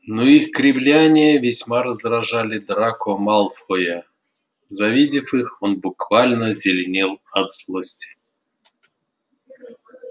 но их кривляния весьма раздражали драко малфоя завидев их он буквально зеленел от злости